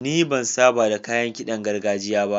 Ni ban saba da kayan ƙidan gargajiya ba.